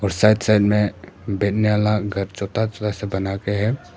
और side side में घर छोटा छोटा सा बना के है।